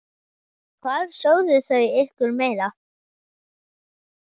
Hvað sögðu þau ykkur meira?